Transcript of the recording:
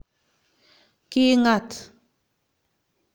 Kingat